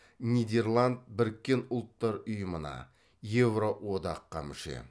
нидерланд біріккен ұлттар ұйымына еуроодаққа мүше